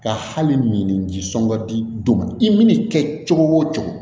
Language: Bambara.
Ka hali mini ji sɔngɔ di ma i mana kɛ cogo o cogo